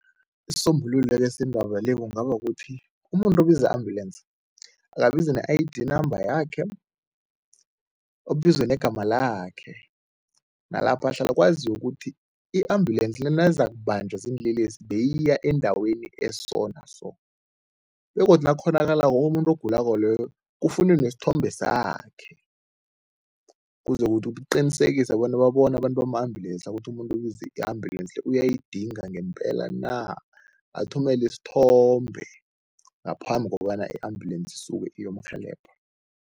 Isisombululo ke sendaba le kungaba kukuthi umuntu obiza i-ambulensi akabize ne-I_D number yakhe, abize negama lakhe nalapha ahlala, kwaziwe ukuthi i-ambulensi le nayizakubanjwa ziinlelesi beyiya endaweni eso naso begodu nakukghonakalako umuntu ogulako loyo kufunwe nesithombe sakhe ukuze ukuthi kuqinisekiswe bona babone abantu bama-ambulensi la ukuthi umuntu ubize i-ambulensi le uyayidinga ngempela na, athumele isithombe ngaphambi kobana i-ambulensi isuke iyomrhelebha.